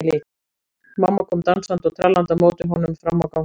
Mamma kom dansandi og trallandi á móti honum fram á ganginn.